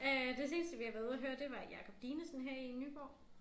Øh det seneste vi har været ude at høre det har været Jacob Dinesen her i Nyborg